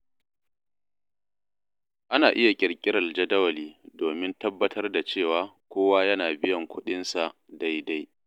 Ana iya ƙirƙirar jadawali domin tabbatar da cewa kowa yana biyan kuɗinsa daidai.